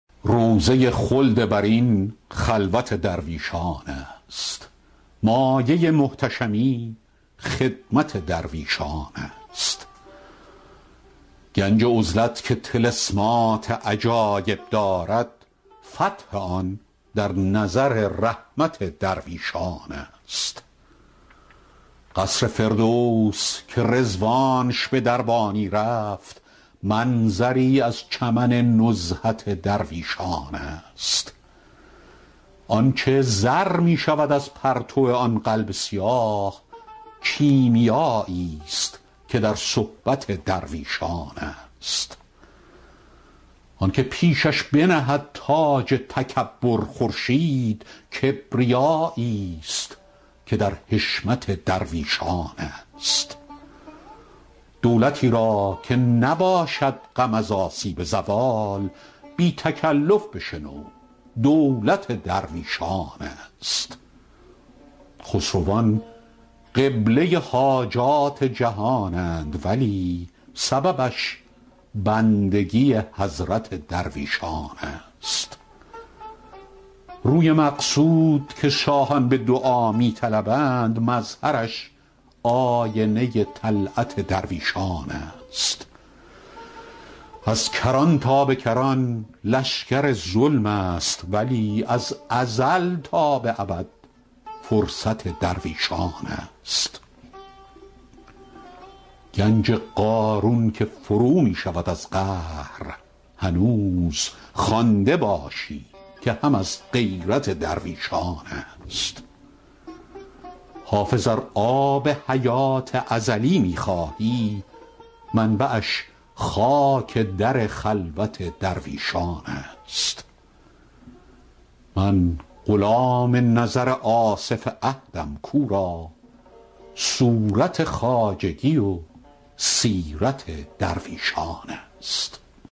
روضه خلد برین خلوت درویشان است مایه محتشمی خدمت درویشان است گنج عزلت که طلسمات عجایب دارد فتح آن در نظر رحمت درویشان است قصر فردوس که رضوانش به دربانی رفت منظری از چمن نزهت درویشان است آن چه زر می شود از پرتو آن قلب سیاه کیمیاییست که در صحبت درویشان است آن که پیشش بنهد تاج تکبر خورشید کبریاییست که در حشمت درویشان است دولتی را که نباشد غم از آسیب زوال بی تکلف بشنو دولت درویشان است خسروان قبله حاجات جهانند ولی سببش بندگی حضرت درویشان است روی مقصود که شاهان به دعا می طلبند مظهرش آینه طلعت درویشان است از کران تا به کران لشکر ظلم است ولی از ازل تا به ابد فرصت درویشان است ای توانگر مفروش این همه نخوت که تو را سر و زر در کنف همت درویشان است گنج قارون که فرو می شود از قهر هنوز خوانده باشی که هم از غیرت درویشان است حافظ ار آب حیات ازلی می خواهی منبعش خاک در خلوت درویشان است من غلام نظر آصف عهدم کو را صورت خواجگی و سیرت درویشان است